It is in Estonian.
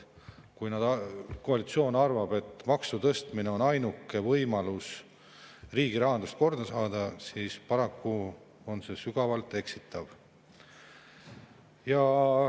Kui koalitsioon arvab, et maksutõstmine on ainuke võimalus riigirahandust korda saada, siis paraku on see sügavalt eksitav.